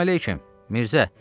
Salam əleyküm, Mirzə.